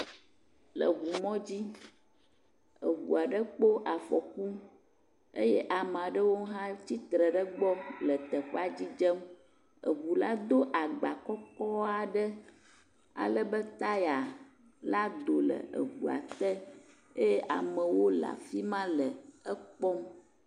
Le ŋumɔdzi eŋu aɖe kpɔ afɔku eye ame aɖewo tsitre ɖe egbɔ le teƒea dzidzem, eŋua do agba kɔkɔ aɖe, ale be taya la do le eŋua te eye amewo le afi ma le ekpɔm.